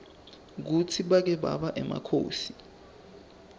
kutsi bake baba emakhosi